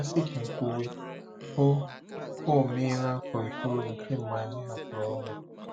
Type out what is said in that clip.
A sị ka e kwuwe, o o meela afọ itoolu kemgbe anyị hapụrụ ụlọ.